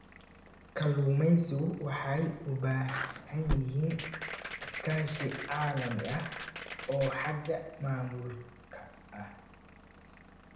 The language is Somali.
Kalluumaysigu waxay u baahan yihiin iskaashi caalami ah oo xagga maamulka ah.